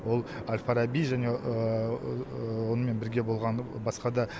ол әл фараби және онымен бірге болған басқа да